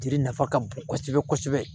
Jiri nafa ka bon kosɛbɛ kosɛbɛ